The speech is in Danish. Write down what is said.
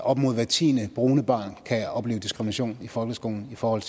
op mod hvert tiende brune barn kan opleve diskrimination i folkeskolen i forhold